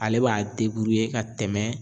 Ale b'a ka tɛmɛ